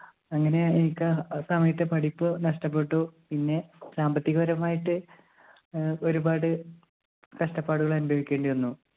അങ്ങനെയാണ് എനിക്ക് ആ സമയത്തെ പഠിപ്പ് നഷ്ടപ്പെട്ടു പിന്നെ സാമ്പത്തിക പരമായിട്ട് ഏർ ഒരുപാട് കഷ്ടപ്പാടുകൾ അനുഭവിക്കേണ്ടി വന്നു